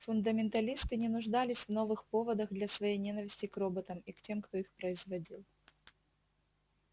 фундаменталисты не нуждались в новых поводах для своей ненависти к роботам и к тем кто их производил